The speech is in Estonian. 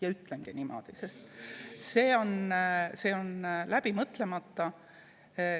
Ja ütlengi niimoodi, sest see on läbi mõtlemata.